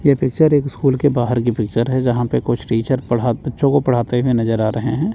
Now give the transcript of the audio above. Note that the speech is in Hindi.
यह पिक्चर एक स्कूल के बाहर की पिक्चर है। जहां पे कुछ टीचर बच्चों को पढ़ाते हुए नजर आ रहे हैं।